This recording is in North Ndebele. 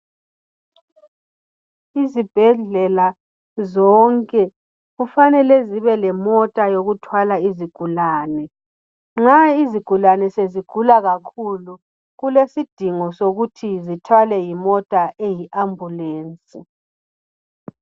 Izibhedlela zonke kufanele zibe lomota yokuthwala izigulane. Nxa izigulane sezigula kakhulu kulesidingo ukuthi zithwalwe yimota eyi ambulensi